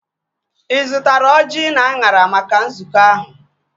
Ị zụtara ọjị na anyara maka nzukọ ahụ?